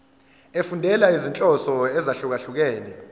efundela izinhloso ezahlukehlukene